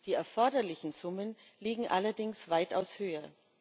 Die erforderlichen Summen liegen allerdings weitaus höher.